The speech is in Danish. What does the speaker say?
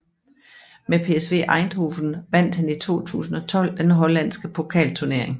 Med PSV Eindhoven vandt han i 2012 den hollandske pokalturnering